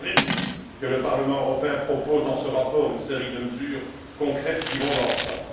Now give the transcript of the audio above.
Je me réjouis que le Parlement européen propose, dans ce rapport, une série de mesures concrètes qui vont dans ce sens.